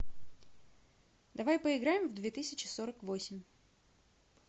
давай поиграем в две тысячи сорок восемь